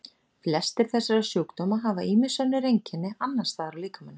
Flestir þessara sjúkdóma hafa ýmis önnur einkenni annars staðar á líkamanum.